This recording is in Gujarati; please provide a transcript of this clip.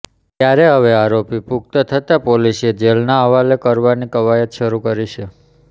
ત્યારે હવે આરોપી પુખ્ત થતા પોલીસે જેલનાં હવાલે કરવાની કવાયત શરૂ કરી છે